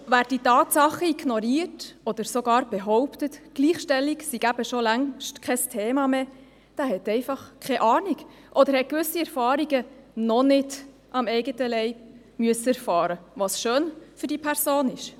Wer diese Tatsachen ignoriert oder sogar behauptet, Gleichstellung sei schon längst kein Thema mehr, hat einfach keine Ahnung oder hat gewisse Erfahrungen noch nicht am eigenen Leib machen müssen, was schön für diese Person ist.